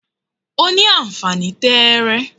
o ni anfani tẹẹrẹ